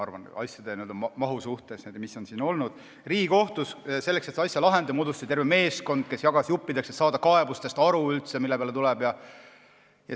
Riigikohtus moodustati selleks, et seda asja lahendada, terve meeskond, kes jagas selle juppideks, et kaebustest üldse aru saada.